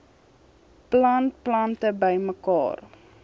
plant plante bymekaar